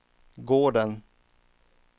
gården